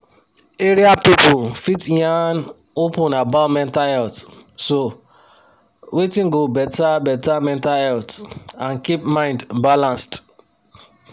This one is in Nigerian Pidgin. area people fit yan open about mental health so wetin go better better mental health and keep mind balanced.